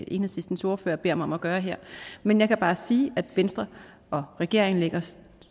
enhedslistens ordfører beder mig om at gøre her men jeg kan bare sige at venstre og regeringen lægger